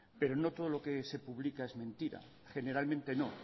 pero no todo lo que se publica es mentira generalmente no